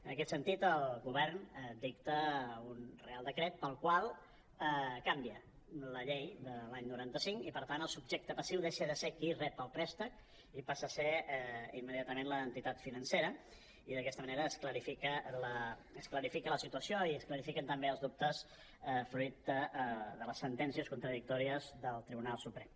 en aquest sentit el govern dicta un reial decret pel qual canvia la llei de l’any noranta cinc i per tant el subjecte passiu deixa de ser qui rep el préstec i passa a ser imme·diatament l’entitat financera i d’aquesta manera es clarifica la situació i es clarifi·quen també els dubtes fruit de les sentències contradictòries del tribunal suprem